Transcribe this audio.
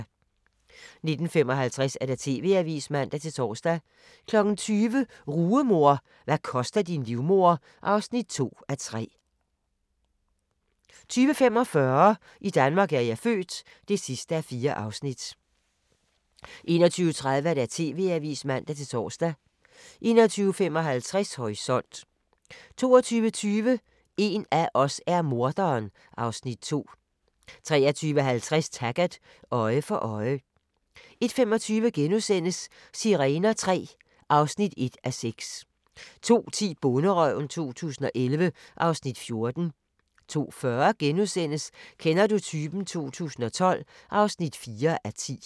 19:55: TV-avisen (man-tor) 20:00: Rugemor – hvad koster din livmoder? (2:3) 20:45: I Danmark er jeg født (4:4) 21:30: TV-avisen (man-tor) 21:55: Horisont 22:20: En af os er morderen (Afs. 2) 23:50: Taggart: Øje for øje 01:25: Sirener III (1:6)* 02:10: Bonderøven 2011 (Afs. 14) 02:40: Kender du typen? 2012 (4:10)*